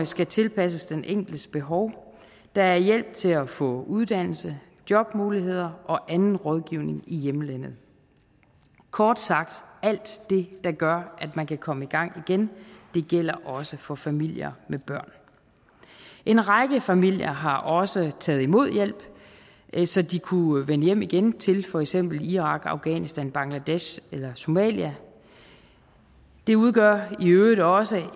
skal tilpasses den enkeltes behov der er hjælp til at få uddannelse jobmuligheder og anden rådgivning i hjemlandet kort sagt alt det der gør at man kan komme i gang igen gælder også for familier med børn en række familier har også taget imod hjælp så de kunne vende hjem igen til for eksempel irak afghanistan bangladesh eller somalia det udgør i øvrigt også